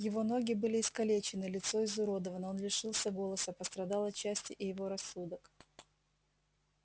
его ноги были искалечены лицо изуродовано он лишился голоса пострадал отчасти и его рассудок